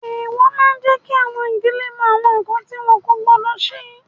Èèwọ̀ máa jẹ kí àwọn ìdílé mọ awọn nkan ti wọn kò gbọdọ ṣe